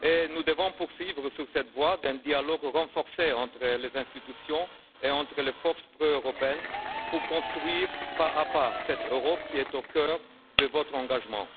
Nous devons poursuivre sur cette voie d'un dialogue renforcé entre les institutions et entre les forces proeuropéennes pour construire pas à pas cette Europe qui est au cœur de votre engagement.